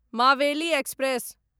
Maveli express